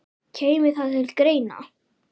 Kæmi það til greina?